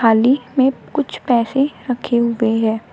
अलिख में कुछ पैसे रखे हुए हैं।